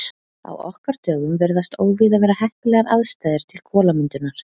Á okkar dögum virðast óvíða vera heppilegar aðstæður til kolamyndunar.